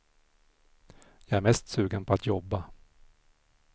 Jag är mest sugen på att jobba.